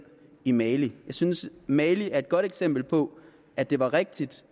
i mali jeg synes at mali er et godt eksempel på at det var rigtigt